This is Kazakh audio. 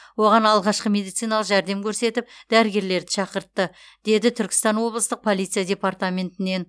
оған алғашқы медициналық жәрдем көрсетіп дәрігерлерді шақыртты деді түркістан облыстық полиция департаментінен